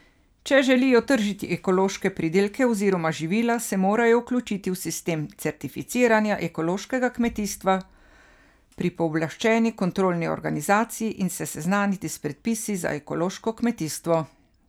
Če želijo tržiti ekološke pridelke oziroma živila, se morajo vključiti v sistem certificiranja ekološkega kmetijstva pri pooblaščeni kontrolni organizaciji in se seznaniti s predpisi za ekološko kmetijstvo.